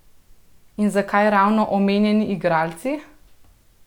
In zakaj ravno omenjeni igralci?